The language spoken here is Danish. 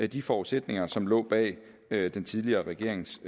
de forudsætninger som lå bag bag den tidligere regerings